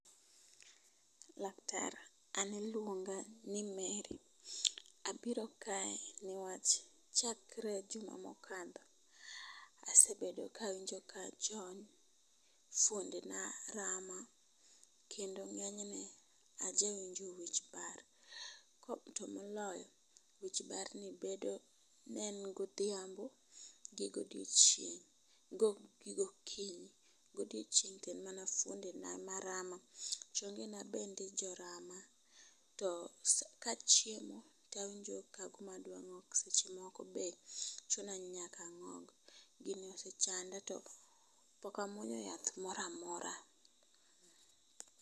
Laktar an iluonga ni Mary. Abiro kae newach chakre juma mokalo asebedo kawinjo kajony, fuonde na rama kendo ng'enyne aja winjo wich bar ko to moloyo wich bar ni nobedo mana godhiambo gi godiochieng' gi gokinyi. Godiochieng' to en mana fuonde na ema rama ,chonge na bende jorama to sa kachiemo tawinjo kagima adwa ng'ok seche moko be chuna ni nyaka ang'og. Gini osechanda to pok amuonyo yath moramora.